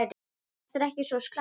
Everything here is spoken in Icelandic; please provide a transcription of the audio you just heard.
Þetta er ekki svo slæmt.